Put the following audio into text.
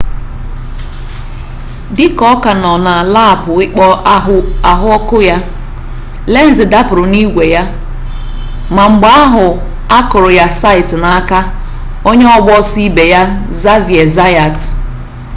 dị ka ọ ka nọ na laapụ ikpo ahụ ọkụ ya lenz dapụrụ n'igwe ya ma mgbe ahụ a kụrụ ya site n'aka onye ọgba ọsọ ibe ya xavier zayat